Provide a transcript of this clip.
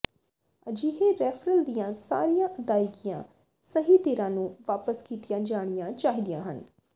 ਅਜਿਹੇ ਰੈਫ਼ਰਲ ਦੀਆਂ ਸਾਰੀਆਂ ਅਦਾਇਗੀਆਂ ਸਹੀ ਧਿਰਾਂ ਨੂੰ ਵਾਪਸ ਕੀਤੀਆਂ ਜਾਣੀਆਂ ਚਾਹੀਦੀਆਂ ਹਨ